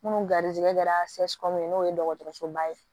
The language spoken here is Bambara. Munnu garisigɛ kɛra n'o ye dɔgɔtɔrɔsoba ye